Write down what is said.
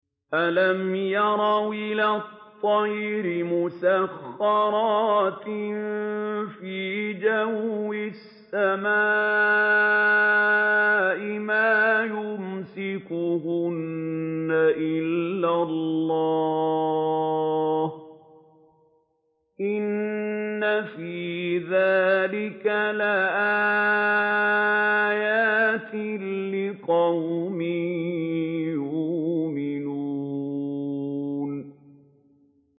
أَلَمْ يَرَوْا إِلَى الطَّيْرِ مُسَخَّرَاتٍ فِي جَوِّ السَّمَاءِ مَا يُمْسِكُهُنَّ إِلَّا اللَّهُ ۗ إِنَّ فِي ذَٰلِكَ لَآيَاتٍ لِّقَوْمٍ يُؤْمِنُونَ